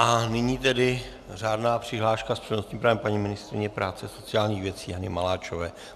A nyní tedy řádná přihláška s přednostním právem paní ministryně práce a sociálních věcí Janě Maláčové.